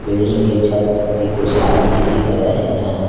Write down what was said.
Building के छत पर भी कुछ आदमी दिख रहे हैं।